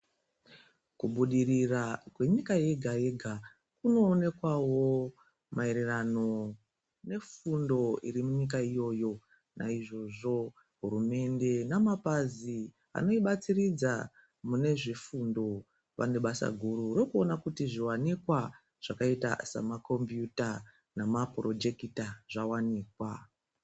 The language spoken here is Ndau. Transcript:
Kubudirira kwenyika yega-yega kunoonekwavo maererano nefundo iri munyika iyoyo naizvozvo hurumende namapazi anoibatsiridza mune zvifundo vane basa guru rokuona kuti zviwanikwa zvakaita semakombiyuta nemapurojekita zvawanikwa.